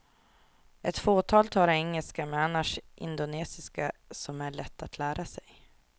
Ett fåtal talar engelska, men annars indonesiska som är lätt att lära sig.